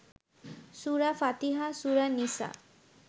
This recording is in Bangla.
সুরা ফাতিহা, সুরা নিসা